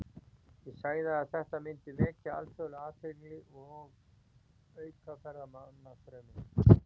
Ég sagði að þetta myndi vekja alþjóðlega athygli og auka ferðamannastrauminn.